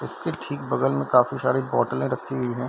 उसके ठीक बगल में काफी सारी बॉटले रखी हुई है।